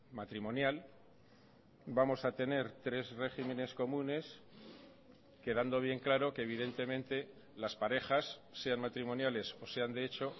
matrimonial vamos a tener tres regímenes comunes quedando bien claro que evidentemente las parejas sean matrimoniales o sean de hecho